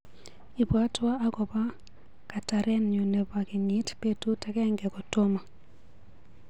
Ibwatwa akobo katarenyu nebo kenyit betut agenge kotomo.